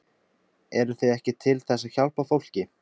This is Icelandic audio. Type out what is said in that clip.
Eruð þið ekki til þess að hjálpa fólki?